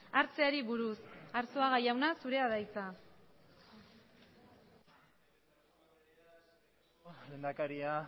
hartzeari buruz arzuaga jauna zure da hitza lehendakaria